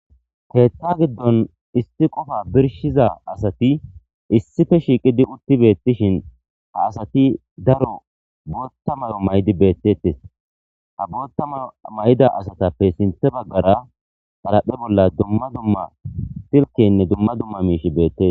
keethta giddon issi qofa birshiza asati issife shiiqidi utti beettishin ha asati daro bootta mayo may7di beettettes ha bootta mayo may7da asatappe sinthe baggara xaraphe bolla dumma dumma silkenne dumma dumma miishi beettes